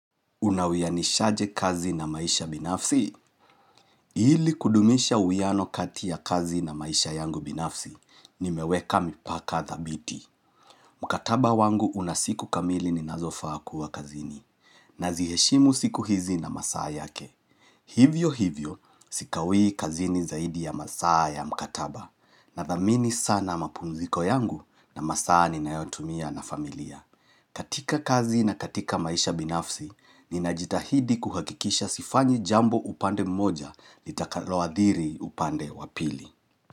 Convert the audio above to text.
Unawianishaje kazi na maisha binafsi? Ili kudumisha uwiano kati ya kazi na maisha yangu binafsi, nimeweka mipaka dhabiti. Mkataba wangu una siku kamili ninazofaa kuwa kazini, naziheshimu siku hizi na masaa yake. Hivyo hivyo, sikawii kazini zaidi ya masaa ya mkataba, nathamini sana mapumziko yangu na masaa ninayotumia na familia. Katika kazi na katika maisha binafsi, ninajitahidi kuhakikisha sifanyi jambo upande mmoja litakaloathiri upande wa pili.